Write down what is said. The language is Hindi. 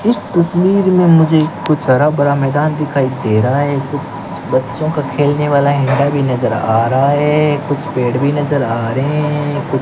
इस तस्वीर में मुझे कुछ हरा भरा मैदान दिखाई दे रहा है कुछ बच्चों का खेलने वाला भी नजर आ रहा है कुछ पेड़ भी नजर आ रहे हैं।